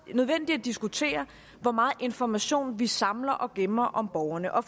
nødvendigt at diskutere hvor meget information vi samler og gemmer om borgerne og